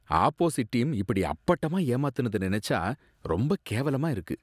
opposite team இப்படி அப்பட்டமா ஏமாத்துனத நினைச்சா ரொம்ப கேவலமா இருக்கு